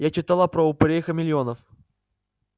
я читала про упырей-хамелеонов